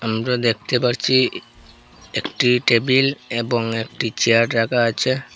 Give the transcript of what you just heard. আমরা দেখতে পারছি একটি টেবিল এবং একটি চেয়ার রাখা আছে।